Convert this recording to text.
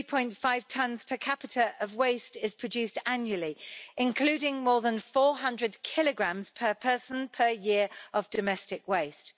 3.5 tonnes per capita of waste is produced annually, including more than 400 kilograms per person, per year, of domestic waste.